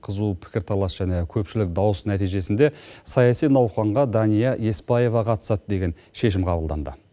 қызу пікірталас және көпшілік дауыс нәтижесінде саяси науқанға дания еспаева қатысады деген шешім қабылданды